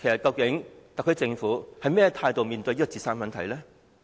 究竟特區政府以甚麼態度面對青年自殺的問題呢？